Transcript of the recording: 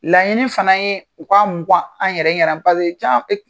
Laɲini fana ye u ka mukan an yɛrɛ ɲɛna caman ye